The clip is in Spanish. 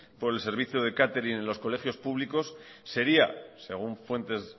por el servicio catering en los colegios públicos sería según fuentes